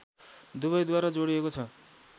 दुवैद्वारा जोडिएको छ